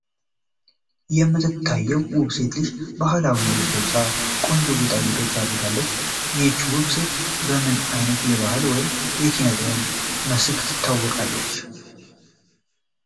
የምትታየው ውብ ሴት ልጅ ባህላዊ ልብስ ለብሳ፣ ቆንጆ ጌጣጌጦችን አድርጋለች። ይህች ውብ ሴት በምን አይነት የባህል ወይም የኪነጥበብ መስክ ትታወቃለች?